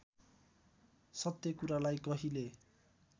सत्य कुरालाई कहिले